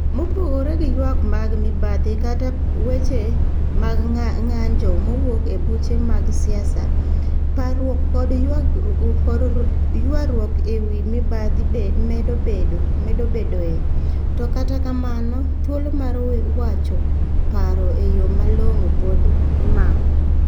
Mopogore gi ywak mag mibadhi kata weche mag ng'anjo mawuok e buche mag siasa, parruok koda ywaruok e wi mibadhi medo bedoe, to kata kamano, thuolo mar wacho paro e yo malong'o pod imako.